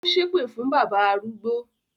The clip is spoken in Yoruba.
Ó ṣépè fún bábà arúgbó